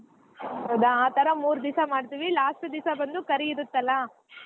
ಹೌದಾ ಆ ತರಾ ಮೂರ್ ದಿವ್ಸ ಮಾಡ್ತಿವಿ last ಒಂದ್ ದಿವ್ಸ ಬಂದು ಕರಿ ಇರತ್ತಲಾ